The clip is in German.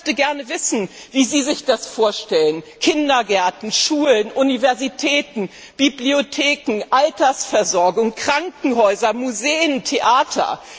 Ich möchte gerne wissen, wie Sie sich das vorstellen Kindergärten, Schulen, Universitäten, Bibliotheken, Altersversorgung, Krankenhäuser, Museen, Theater.